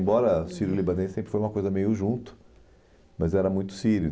Embora sírio-libanês sempre foi uma coisa meio junto, mas era muito sírio.